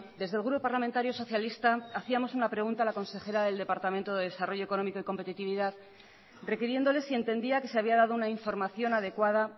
desde el grupo parlamentario socialista hacíamos una pregunta a la consejera del departamento de desarrollo económico y competitividad requiriéndole si entendía que se había dado una información adecuada